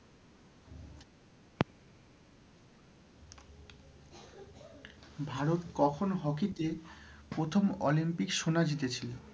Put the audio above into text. ভারত কখন hockey তে প্রথম অলিম্পিক সোনা জিতেছিল?